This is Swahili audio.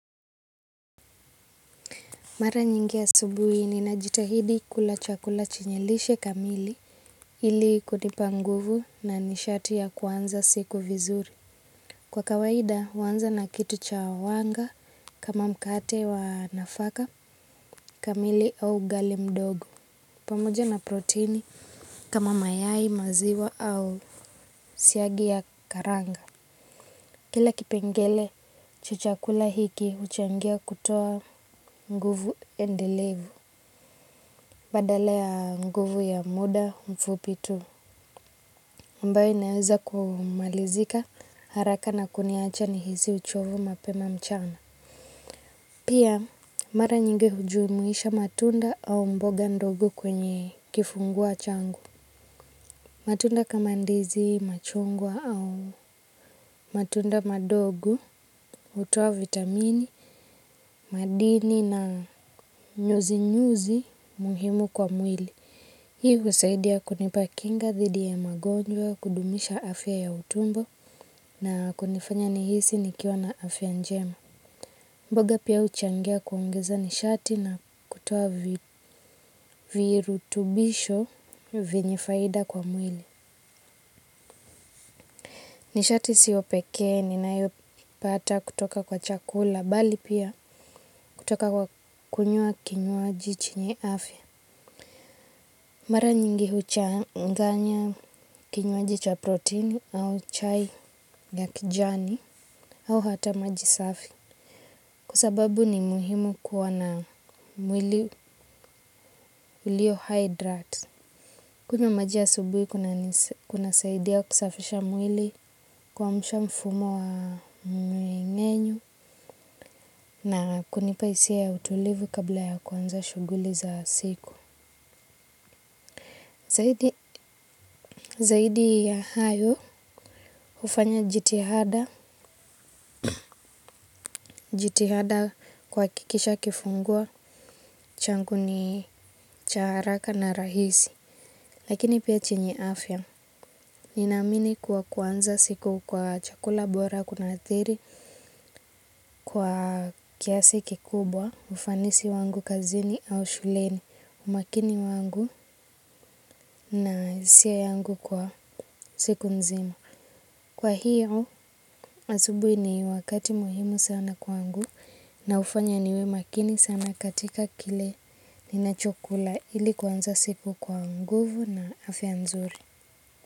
Mara nyingi asubuhi ninajitahidi kula chakula chenye lishe kamili ili kunipa nguvu na nishati ya kuanza siku vizuri. Kwa kawaida, huanza na kitu cha wanga kama mkate wa nafaka kamili au uji mdogo. Pamoja na protini kama mayai, maziwa au siagi ya karanga. Kila kipengele cha chakula hiki huchangia kutoa nguvu endelevu. Badala ya nguvu ya muda mfupi tu ambayo inaweza kumalizika haraka na kuniacha nihisi uchovu mapema mchana. Pia mara nyingi hujumuisha matunda au mboga ndogo kwenye kifungua kinywa changu. Matunda kama ndizi, machungwa au matunda madogo hutoa vitamini, madini na nyuzinyuzi muhimu kwa mwili. Hii husaidia kunipa kinga dhidi ya magonjwa, kudumisha afya ya utumbo na kunifanya nihisi nikiwa na afya njema. Mboga pia huchangia kuongeza nishati na kutoa virutubisho vyenye faida kwa mwili. Nishati siyo pekee ninayopata kutoka kwa chakula, bali pia kutoka kwa kunywa kinywaji chenye afya. Mara nyingi huchanganya kinywaji cha protini au chai ya kijani au hata maji safi kwa sababu ni muhimu kuwa na mwili ulio hydrate. Kunywa maji asubuhi kunasaidia kusafisha mwili, kuamsha mfumo wa mmeng'enyo na kunipa hisia ya utulivu kabla ya kuanza shughuli za siku. Zaidi ya hayo, hufanya jitihada. Jitihada kwa kuhakikisha kifungua kinywa changu ni haraka na rahisi. Lakini pia chenye afya, ninaamini kuanza siku kwa chakula bora kuna athiri kwa kiasi kikubwa ufanisi wangu kazini au shuleni, umakini wangu. Na hisia yangu kwa siku nzima. Kwa hiyo, asubuhi ni wakati muhimu sana kwangu na hufanya niwe makini sana katika kile ninachokula ili kuanza siku kwa nguvu na afya nzuri.